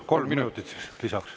Kolm minutit lisaks.